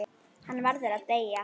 Hann verður að deyja.